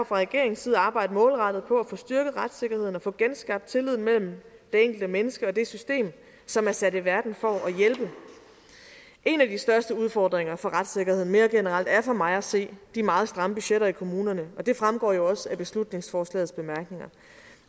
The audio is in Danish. fra regeringens side arbejde målrettet på at få styrket retssikkerheden og få genskabt tilliden mellem det enkelte menneske og det system som er sat i verden for at hjælpe en af de største udfordringer for retssikkerheden mere generelt er for mig at se de meget stramme budgetter i kommunerne og det fremgår jo også af beslutningsforslagets bemærkninger